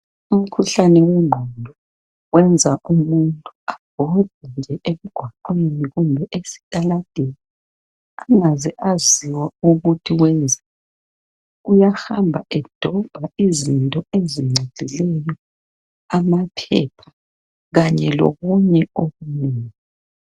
Umkhuhlane wengqondo wenza umuntu abhode nje emgwaqweni kumbe esitaladeni engaze esaziwa uyenzani. Uyahamba edobha izinto ezingcolileyo amaphepha kanye okunye okunengi.